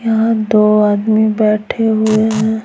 यहां दो आदमी बैठे हुए हैं।